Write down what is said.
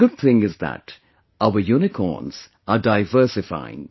The good thing is that our Unicorns are diversifying